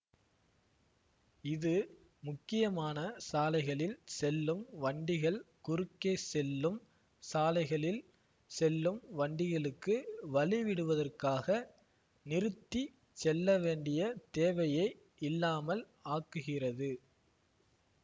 இது முக்கியமான சாலைகளில் செல்லும் வண்டிகள் குறுக்கே செல்லும் சாலைகளில் செல்லும் வண்டிகளுக்கு வழி விடுவதற்காக நிறுத்திச் செல்லவேண்டிய தேவையை இல்லாமல் ஆக்குகிறது